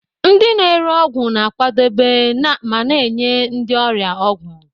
Ndị na-ere ọgwụ na-akwadebe ma na-enye ndị ọrịa ọgwụ.